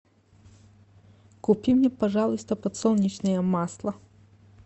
купи мне пожалуйста подсолнечное масло